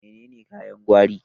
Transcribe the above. Menene kayan gwari?